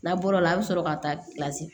N'a bɔr'o la a bi sɔrɔ ka taa